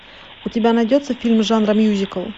у тебя найдется фильм жанра мюзикл